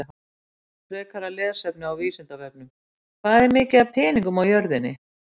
Frekara lesefni á Vísindavefnum: Hvað er mikið af peningum á jörðinni?